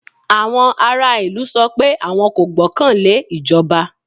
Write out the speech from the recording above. Àwọn ará ìlú sọ pé àwọn kò gbọ́kàn lé ìjọba.